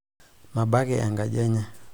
mabaki enkaji enye